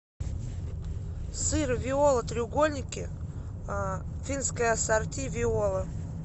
сыр виола треугольники финское ассорти виола